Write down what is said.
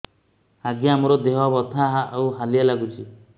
ଆଜ୍ଞା ମୋର ଦେହ ବଥା ଆଉ ହାଲିଆ ଲାଗୁଚି